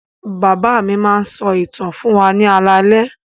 Bàbá mi máa ń sọ ìtàn fún wa ní alaalẹ́.